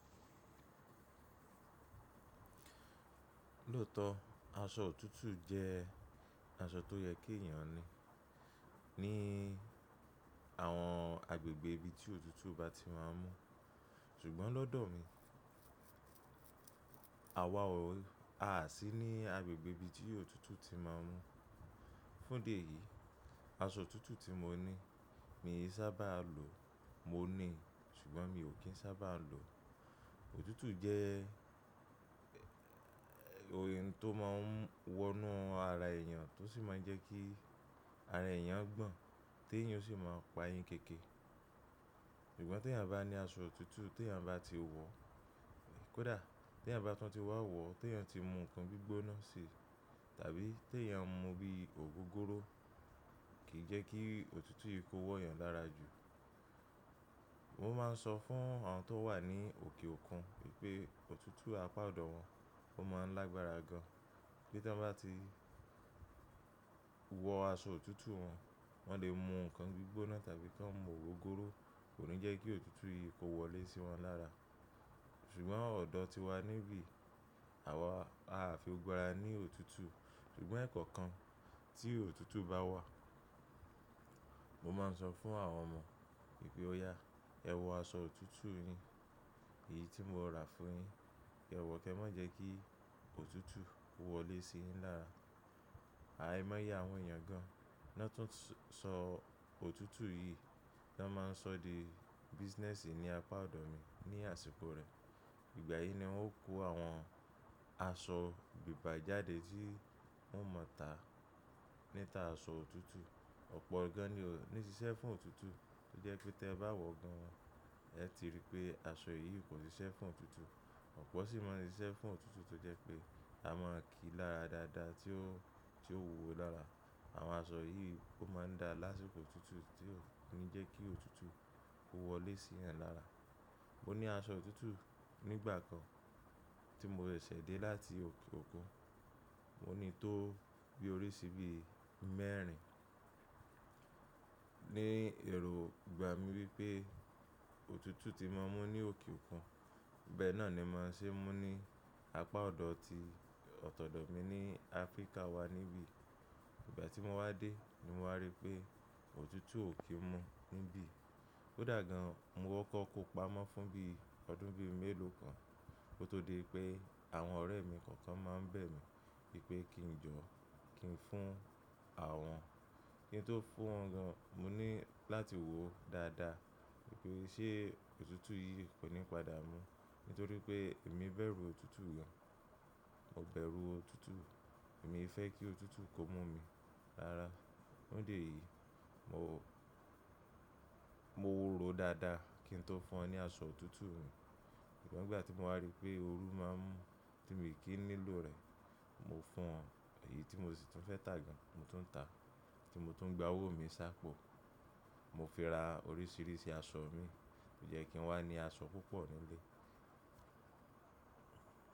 Lóòótọ́ aṣọ òtútù jẹ́ aṣọ tó yẹ kí èèyàn ni ní àwọn agbègbè ibi tí òtútù bá ti máa ń mú. Ṣùgbọ́n lọ́dọ̀ mi, àwa o, a sì ní agbègbè ibi tí òtútù ti máa ń mú. Fún dé eyí, aṣọ òtútù tí mo ní, mi sábà á lò, mo ní, ṣùgbọ́n mi ò kí n sábà á lò. Òtútù jẹ́ ohun tó má ń wọnú ara èèyàn tó sì máa ń jẹ́ kí ara èèyàn gbọ̀n, tí èèyàn sì máa pa yín kéékèè. Ṣùgbọ́n tí èèyàn bá ní aṣọ òtútù tí èèyàn bá ti wọ̀, kódà tí èèyàn bá tún ti wá wọ̀, tí èèyàn ti mú nǹkan gbígbóná se tàbí tí èèyàn mu bí i ògógóró kìí jẹ́ kí òtútù yìí kó wọ èèyàn lára jù. Mo má n sọ fún àwọn tó wà ní òkè òkun wípé òtútù apá ọ̀dọ̀ wọn ó má n lágbára gan. Bí tọ́ bá ti wọ aṣọ òtútù wọn, wọ́n le mú nǹkan gbígbóná tàbí tó n mú ògógóró, kò ní jẹ́ kí òtútù yìí kó wọlé sí wọn dára. Ṣùgbọ́n ọ̀dọ̀ tiwa níbí, àwa a fi gbára ní òtútù. Ṣùgbọ́n ẹ̀kọ̀ kan tí òtútù bá wà, mo má n sọ fún àwọn ọmọ wípé ó yá, ẹ wọ aṣọ òtútù yín eyi tí mo rà fún yin. Ẹ wọ̀ kẹ́ mà jẹ́ kí òtútù kó wọlé sí yín dára. Àìmọ́ye àwọn èèyàn gan. Na tún n sọ òtútù yìí, tan má n sọ dé business ní apá ọ̀dọ̀ mi ní àsìkò rẹ̀. Ìgbà yìí ni wọ́n kó àwọn aṣọ gbígba jáde tí wọ́n mọ̀ tá níta aṣọ òtútù. Ọ̀pọ̀ gan ni ó ní ṣiṣẹ́ fún òtútù tó jẹ́ pé tí ẹ bá wọ̀ gan, ẹ ti rí i pé aṣọ yìí kò ṣiṣẹ́ fún òtútù. Ọ̀pọ̀ sì má n ṣiṣẹ́ fún òtútù tó jẹ́ pé a máa kíi lára dáadáa tí ó, tí ó wuwó lara. Àwọn aṣọ yìí ó má n da lásìkò òtútù tí ó ní jẹ́ kí òtútù kó wọlé sí yan lára. Mo ní aṣọ òtútù nígbà kan tí mo sẹ̀ ṣẹ̀ dé láti òkè òkun. Mo ní tó bí orí sí bí mẹ́rin. Ni èrò gbà mí wípé òtútù tí má n mú ní òkè òkun, bẹ́ẹ̀ náà ni màá n ṣe mú ní apá ọ̀dọ̀ ti ọ̀tọ̀dọ̀ mi ní Africa wá níbí. Ìgbà tí mo wá dé ni mo wá rí i pé òtútù ò kí n mú níbí. Kódà gan mo kọ́kọ́ kó pamọ́ fún bí ọdún bí mélòó kan kó tó di pé àwọn ọ̀rẹ́ mi kọ̀ọ̀kan má n bẹ̀ mí pé kí n jọ, kí n fún àwọn. Kí n tó fún wọn gan, mo ní láti wòó dáadáa wípé ṣé òtútù yìí kò ní padà mú nítorí pé èmi bẹ̀rù òtútù gan. Mo bẹ̀rù òtútù, èmi fẹ́ kí òtútù kó mú mi rára. Fún idi eyí, mo, mo ròó dáadáa kí n tó fún ọ ní aṣọ òtútù mi. Ṣùgbọ́n nigbà tí mo wá rí i pé òru má n mú tí mi kì í nílò rẹ̀, mo fún ọ. Èyí tí mo sì tún fẹ́ tà gan, mo tún ń tà. Tí mo tún ń gba owó mi ṣápọ̀, mo fi ra oríṣiríṣi aṣọ mi tó jẹ́ kí n wá ní aṣọ púpọ̀ nílé.